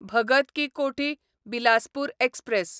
Bhagat ki Kothi Bilaspur express